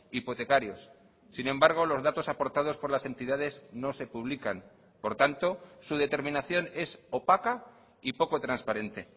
hipotecarios sin embargo los datos aportados por las entidades no se publican por tanto su determinación es opaca y poco transparente